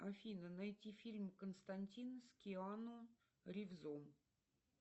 афина найти фильм константин с киану ривзом